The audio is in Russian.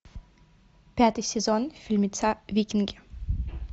пятый сезон фильмеца викинги